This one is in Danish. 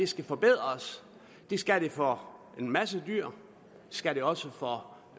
skal forbedres det skal den for en masse dyr det skal den også for